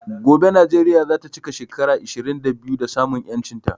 Gobe Nijeria zata chika shekara ishirin da biyu da samun yanchin ta